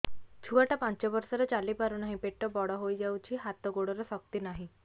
ଛୁଆଟା ପାଞ୍ଚ ବର୍ଷର ଚାଲି ପାରୁନାହଁ ପେଟ ବଡ ହୋଇ ଯାଉଛି ହାତ ଗୋଡ଼ର ଶକ୍ତି ନାହିଁ